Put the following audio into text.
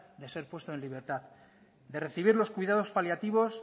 de ser puesto en libertad de recibir los cuidados paliativos